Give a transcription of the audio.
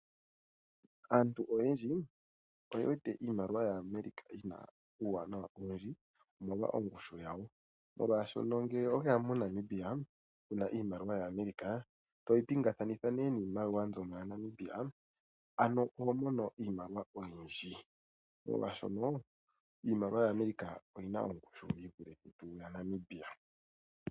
Aantu oyendji oye wete iimaliwa yaAmerica yina uuwanawa owundji omolwa ongushu yawo. Molwaashono ngele oweya moNamibia wuna iimaliwa yaAmerica toyi pingakanitha niimaliwa yaNamibia oho mono iimaliwa oyindji molwaashono iimaliwa yaAmerica oyina ongushu yi vule yaNamibia.